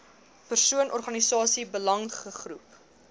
persoon organisasie belangegroep